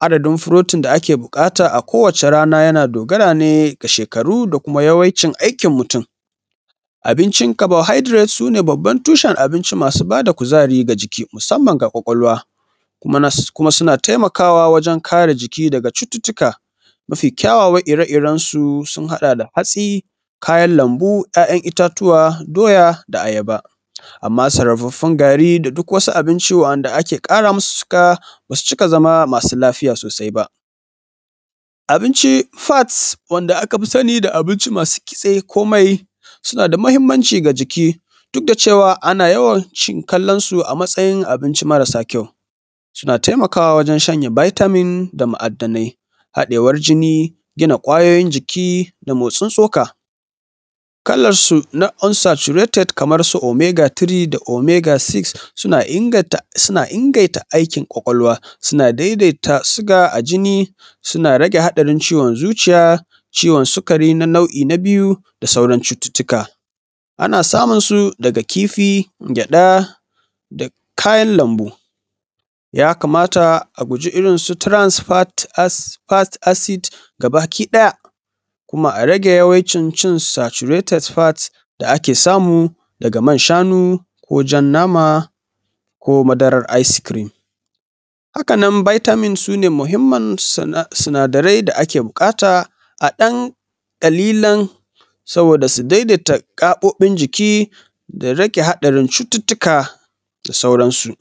adadin protein da ake buƙata kowace rana yana dogara ne da shekaru da kuma yawaicin aikin mutun. Abincin carbohydrates su ne baban tushen abinci masu ba da kuzari ga jiki musanman ga ƙwaƙwalwa. Kuma suna taimaka wa wajan kare jiki daga cututuka. Mafi kyawawan ire irensu sun haɗa da hatsi, kayan lambu, ‘ya’yan itatuwa, doya da ayaba. Amma sarrafafun gari da duk wani abinci da ake ƙara masu siga ba su cika zama masu lafiya sosai ba. Abinci fats wanda aka fi sani da abinci masu kitse ko mai suna da muhimmanci ga jiki da da cewa ana yawancin kallan su a matsayin abinci marasa kyau. Suna taimakawa wajan shanye vitamin, da mu'adanai, haɗewan jini, gina ƙwayoyin jikin da motsin tsoka, kalan na su unsaturated kamar su omega 3, da omega6 suna inganta inganta aikin ƙwaƙwalwa, su na daidaita siga a jini, suna rage haɗarin ciwon zuciya, ciwon sikari, na nau'i na biyu da sauran cuttutuka. Ana samun su daga kifi da man gyaɗa, da kayan lambu. Ya kamata a guji irin su transfered fat acid gabaki ɗaya kuma a rage cin su saturated fat da a ke samu daga man shanu, ko jan nama, ko madarar ice cream. Haka nan vitamin su ne muhimman sinadarai da ake buƙata a ɗan ƙallilan saboda su daidaita gaɓoɓin jiki, su rage hadarin cuttutuka da sauran su.